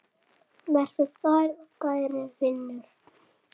Vertu sæll kæri vinur.